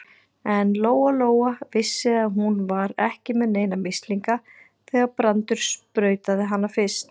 En Lóa-Lóa vissi að hún var ekki með neina mislinga þegar Brandur sprautaði hana fyrst.